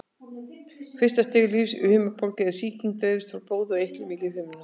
Fyrsta stigs lífhimnubólga er þegar sýking dreifist frá blóði og eitlum í lífhimnuna.